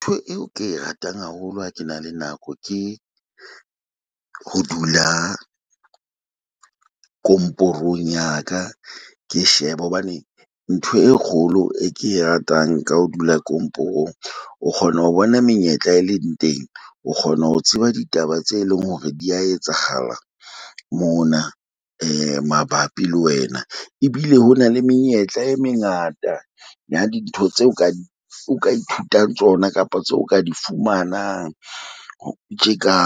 Ntho eo ke e ratang haholo ha ke na le nako, ke ho dula komporong ya ka, ke shebe hobane ntho e kgolo e ke e ratang ka ho dula komporong. O kgona ho bona menyetla e leng teng, o kgona ho tseba ditaba tse leng hore di ya etsahala mona mabapi le wena. Ebile ho na le menyetla e mengata ya dintho tseo o ka di o ka ithutang tsona kapa tseo o ka di fumanang. O tje ka